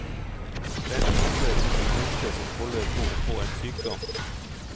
Den handler om en jente som holder på å få en sykdom.